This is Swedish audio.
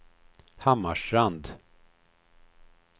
Hammarstrand